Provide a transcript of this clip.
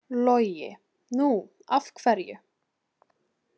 Logi: Nú af hverju?